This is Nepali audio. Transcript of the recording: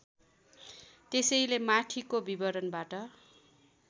त्यसैले माथिको विवरणबाट